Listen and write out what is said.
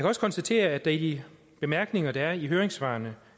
også konstatere at der i de bemærkninger der er i høringssvarene